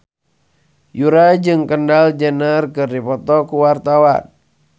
Yura jeung Kendall Jenner keur dipoto ku wartawan